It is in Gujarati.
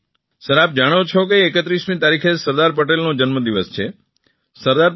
પંજાબથી સર આપ જાણો છો કે 31મી તારીખે સરદાર પટેલનો જન્મદિવસ છે